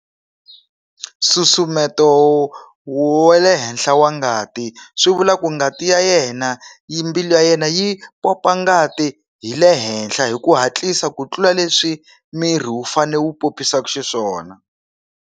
Nsusumeto wa le henhla wa ngati swi vula ku ngati ya yena yi mbilu ya yena yi pompa ngati hi le henhla hi ku hatlisa ku tlula leswi miri wu fane wu popisaka xiswona.